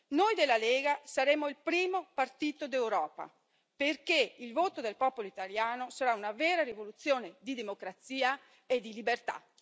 Noi della Lega saremo il primo partito d'Europa, perché il voto del popolo italiano sarà una vera rivoluzione di democrazia e di libertà.